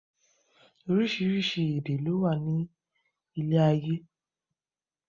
Oríṣiríṣi èdè lowa ni ilé ayé